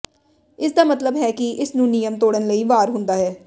ਇਸ ਦਾ ਮਤਲਬ ਹੈ ਕਿ ਇਸ ਨੂੰ ਨਿਯਮ ਤੋੜਨ ਲਈ ਵਾਰ ਹੁੰਦਾ ਹੈ